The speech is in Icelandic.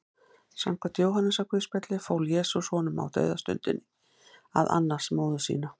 Samkvæmt Jóhannesarguðspjalli fól Jesús honum á dauðastundinni að annast móður sína.